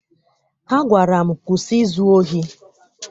Ha gwara m, kwụsị izu ohi!